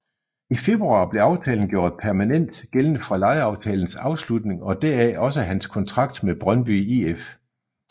I februar blev aftalen gjort permanent gældende fra lejeaftalens afslutning og deraf også hans kontrakt med Brøndby IF